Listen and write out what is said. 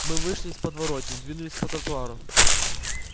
мы вышли из подворотни двинулись по тротуару